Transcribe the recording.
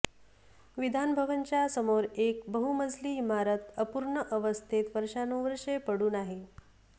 विधानभवनच्या समोर एक बहुमजली इमारत अपूर्ण अवस्थेत वर्षानुवर्षे पडून आहे